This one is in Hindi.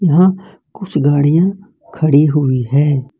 यहां कुछ गाड़ियां खड़ी हुई है।